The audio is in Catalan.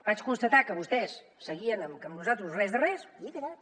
vaig constatar que vostès seguien amb que amb nosaltres res de res i he callat